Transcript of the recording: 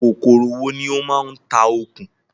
Kòkòrò wo ní ó ń ma ń tá okùn?